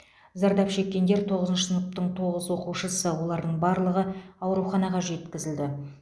зардап шеккендер тоғызыншы сыныптың тоғыз оқушысы олардың барлығы ауруханаға жеткізілді